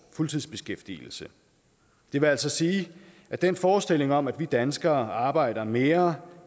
fuldtidsbeskæftigelse det vil altså sige at den forestilling om at vi danskere arbejder mere